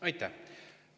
Aitäh!